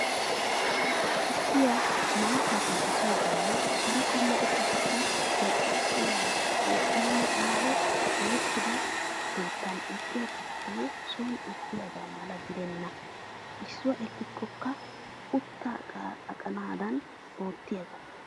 Tukkiya, maattaa penttissoogaanne hara qommo ushshatakka zal"iyaa wogganne aaho erettida keettan eqqiya tukkee soon eqqiyaagaa mala gidenna. Issuwaa ekkikko utta aqanaadan oottiyaagaa.